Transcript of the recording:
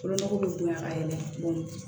Fɔlɔmɔgɔw bɛ bonya ka yɛlɛ cogo min